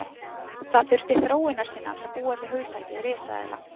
Það þurfti þróunarsinna til að búa til hugtakið risaeðla.